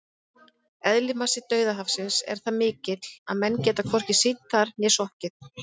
Eðlismassi Dauðahafsins er það mikill að menn geta hvorki synt þar né sokkið!